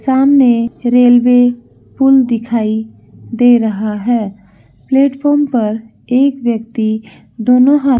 सामने रेलवे पूल दिखाई दे रहा है प्लेटफार्म पर एक ब्यक्ति दोनों हाथ --